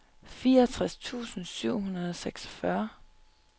fireogtres tusind syv hundrede og seksogfyrre